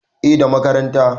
eh da makaranta